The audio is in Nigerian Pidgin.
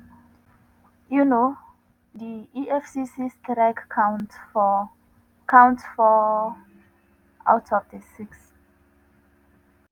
um di efcc strike counts four counts four out of di six.